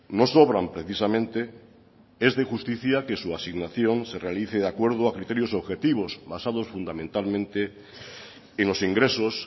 no sobran precisamente es de justicia que su asignación se realice de acuerdo a criterios objetivos basados fundamentalmente en los ingresos